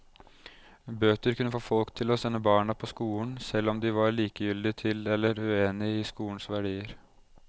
Bøter kunne få folk til å sende barna på skolen, selv om de var likegyldige til eller uenige i skolens verdier.